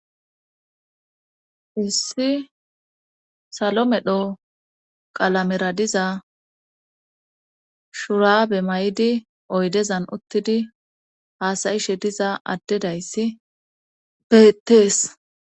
Issi salo medho qalamera diza shuraabe may'idi oydezan uttidi haasayishe diza addedayssi bettees.